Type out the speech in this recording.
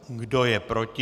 Kdo je proti?